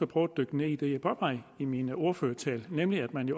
prøve at dykke ned i det jeg påpegede i min ordførertale nemlig om det